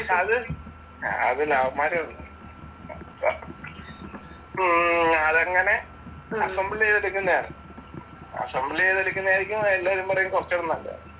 അത്, അത് ലവന്മാര് ഉം അതങ്ങനെ അസംബിൾ ചെയ്തെടുക്കുന്നയാ. അസംബിൾ ചെയ്തെടുക്കുന്നയാ എല്ലാരും പറയും കുറച്ചൂടെ നല്ലതെന്ന്.